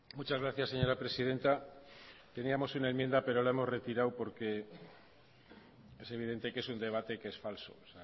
muchas gracias señora presidenta teníamos una enmienda pero la hemos retirado porque es evidente que es un debate que es falso